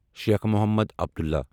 Sheikh Mohammad Abdullah